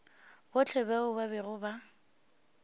bohle bao ba bego ba